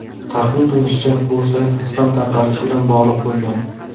Taxmin qilinishicha, bu sayt spam tarqalishi bilan bog‘liq bo‘lgan.